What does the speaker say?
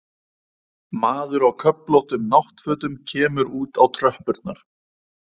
Maður á köflóttum náttfötum kemur út á tröppurnar.